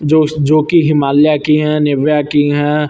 जोश जोकि हिमालया की हैं निविया की हैं।